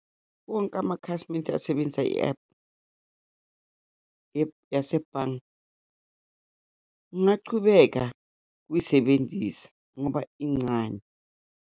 Wonke amakhasimende asebenza i-ephu, i-ephu yasebhange, ngachubeka ukuyisebenzisa ngoba incane.